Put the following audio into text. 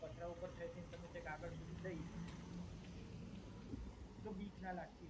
પથરા ઉપરથી થઈ થઈને તમે આગળ સુધી જય શકો છો. બવ બીક ના લગતી હોય.